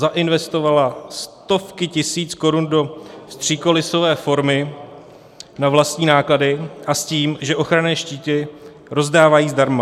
Zainvestovala stovky tisíc korun do vstřikolisové formy na vlastní náklady a s tím, že ochranné štíty rozdávají zdarma.